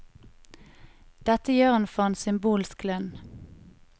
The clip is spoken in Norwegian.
Dette gjør hun for en symbolsk lønn.